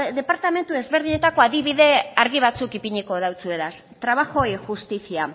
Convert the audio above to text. departamendu ezberdinetako adibide argi batzuk ipiniko dautsuegaz trabajo y justicia